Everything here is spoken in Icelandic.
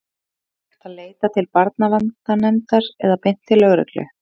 Einnig er hægt að leita til barnaverndarnefndar eða beint til lögreglu.